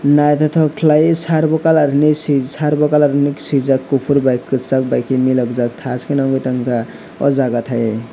naitotok kelaioe servo kalar hinui sie servo kalar hinui sijak kopor bai kesag bai ke milokjak tajke no nogoitangka o jata taioe.